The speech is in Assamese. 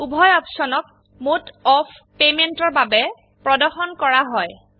উভয় অপশনক মোড অফ পেমেন্টৰ বাবে প্ৰদৰ্শন কৰা হয়